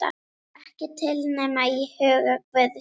Ekki til nema í huga guðs.